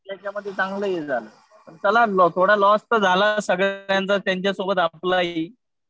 त्याच्यामध्ये चांगले हे झालं. चला थोडा लॉस तर झाला सगळ्यांचा. त्यांच्यासोबत आपलाही.